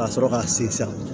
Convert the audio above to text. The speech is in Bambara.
Ka sɔrɔ ka sin san